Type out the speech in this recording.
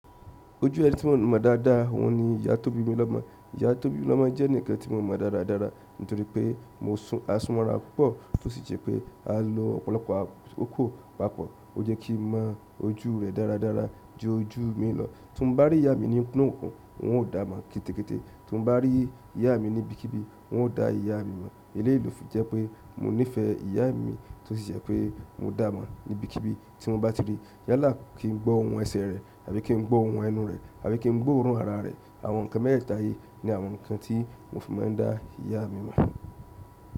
Ojú ẹ̀ní tí mo mọ dáadáa oun ni ìyá tó bí mi lọ́mọ. Ìyá tó bí mi lọ́mọ jẹ́ enikan tí mo mọ dáradára nítorí pé mo sùn àsùnmọ́ra púpọ̀ tó sì jẹ́ pé a lo ọ̀pọ̀lọpọ̀ akoko papọ̀. Ó jẹ́ kí mo mọ ojú rẹ̀ dáradára ju ojú mi lọ. Tí mo bá rí ìyá mi ní inú okùn, un ó dàá mọ̀ kété kété. Tí mo bá rí ìyá mi ní ibikíbi, un o dà ìyá mi mọ̀. Eleyii lo fi jẹ́ pé mo nífẹ̀ẹ́ ìyá mi tó sì jẹ́ pé mo dàá mọ̀ ní ibikíbi tí mo bá ti rí. Yálà kí n gbọ́ ohùn ẹsẹ̀ rẹ̀ àbí kí n gbọ́ ohùn ẹnu rẹ̀ àbí kí n gbọ́ òórùn ara rẹ̀. Àwọn nkan mẹẹtẹẹta yìí ni àwọn nkan ti mo fi maa n da iya mi mọ.